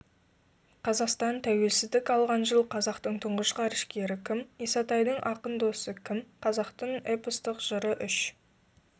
қазақстан тәуелсіздік алған жыл қазақтың тұңғыш ғарышкері кім исатайдың ақын досы кім қазақтың эпостық жыры үш